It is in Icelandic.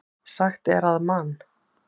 Sagt er að Man.